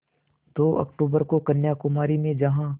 दो अक्तूबर को कन्याकुमारी में जहाँ